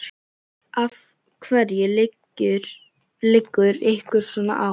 Af hverju liggur ykkur svona á?